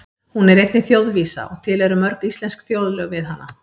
Hún er einnig þjóðvísa og til eru mörg íslensk þjóðlög við hana.